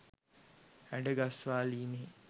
හැඩ ගස්වාලීමෙහි